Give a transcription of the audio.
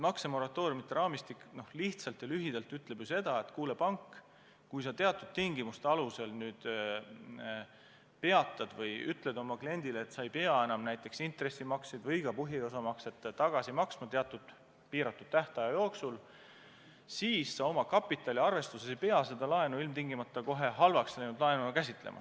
Maksemoratooriumide raamistik lühidalt ütleb seda, et kuule, pank, kui sa teatud tingimuste alusel nüüd ütled oma kliendile, et ta ei pea näiteks intressimakseid või ka põhiosamakseid teatud piiratud tähtaja jooksul tegema, siis sa oma kapitaliarvestuses ei pea seda laenu ilmtingimata kohe halvaks läinud laenuna käsitlema.